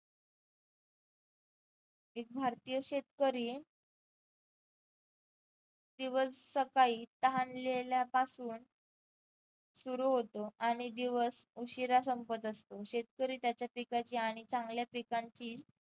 एक भारतीय शेतकरी दिवस सकाळी तहानलेल्या पासून सुरु होतो आणि दिवस उशिरा संपत असतो. शेतकरी त्याच्या पिकाची आणि चांगल्या पिकांची